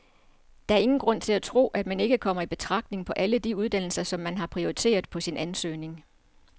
Der er ingen grund til at tro, at man ikke kommer i betragtning på alle de uddannelser, som man har prioriteret på sin ansøgning.